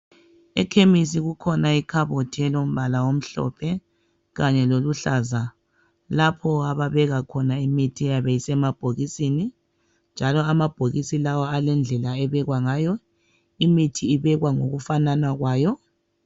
Ekhemisi kukhona ikhabothi elombala omhlophe kanye loluhlaza lapho ababeka khona imithi eyabe isemabhokisini njalo amabhokisi lawo alendlela ebekwa ngayo. Imithi ibekwa ngokufanana kwayo.